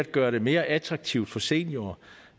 gøre det mere attraktivt for seniorer